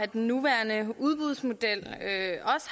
den nuværende udbudsmodel